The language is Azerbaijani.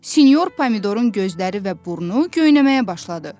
Sinyor Pomidorun gözləri və burnu göynəməyə başladı.